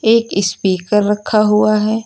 एक स्पीकर रखा हुआ है।